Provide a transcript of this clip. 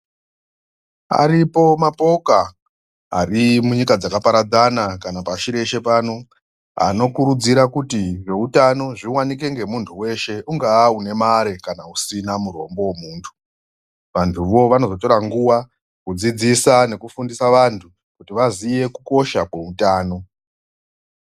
Aripo mapoka ari munyika dzakaparadzana kana pashi reshe pano anokurudzira kuti zveutano zviwake ngemuntu weshe. Ungaa une mare kana usina murombo wemuntu. Vantu wo vanozotora nguva kuti vadzidzise kukosha kweutano.